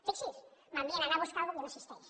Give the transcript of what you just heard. fixi’s m’envien a anar a buscar una cosa que no existeix